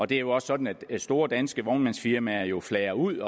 det er jo også sådan at store danske vognmandsfirmaer jo flager ud